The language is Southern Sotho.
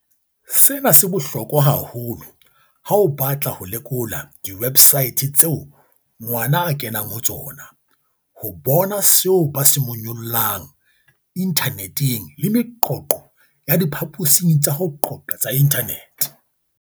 "Sena se bohlokwa haholo ha o batla ho lekola diwe bsaete tseo ngwana a kenang ho tsona, ho bona seo ba se monyollang inthaneteng le meqoqo ya diphaposing tsa ho qoqa tsa inthanete."